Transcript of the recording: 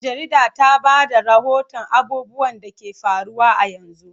Jarida ta ba da rahoton abubuwan da ke faruwa a yanzu.